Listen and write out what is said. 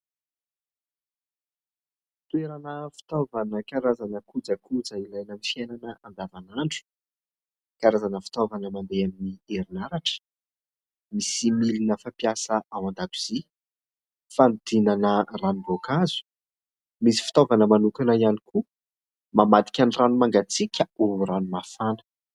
Toerana fitaovana karazana kojakoja ilaina amin'ny fiainana andavan'andro, karazana fitaovana mandeha amin'ny herinaratra. Misy milina fampiasa ao an-dakozia fanodinana ranom-boankazo, misy fitaovana manokana ihany koa mamadika ny rano mangatsiaka ho rano mafana.